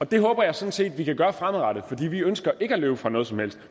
det håber jeg sådan set vi kan gøre fremadrettet for vi ønsker ikke at løbe fra noget som helst